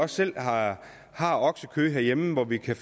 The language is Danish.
selv har oksekød herhjemme hvor vi kan